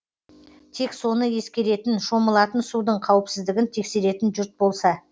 тек соны ескеретін шомылатын судың қауіпсіздігін тексеретін жұрт болса